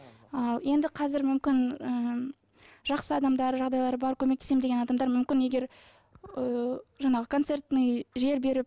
ал енді қазір мүмкін ы жақсы адамдар жағдайлары бар көмектесемін деген адамдар мүмкін егер ы жаңағы концертный жер беріп